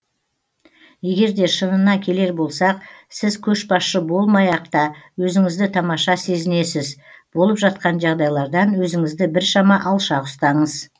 егер де шынына келер болсақ сіз көшбасшы болмай ақ та өзіңізді тамаша сезінесіз болып жатқан жағдайлардан өзіңізді біршама алшақ ұстаңыз